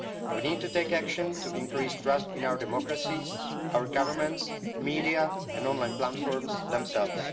We need to take action to increase trust in our democracies, our governments, media and online platforms themselves.